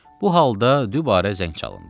Bu halda dübarə zəng çalındı.